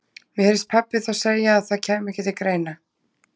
Mér heyrðist pabbi þá segja að það kæmi ekki til greina.